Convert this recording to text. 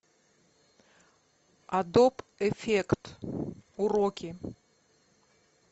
адоб эффект уроки